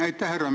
Aitäh!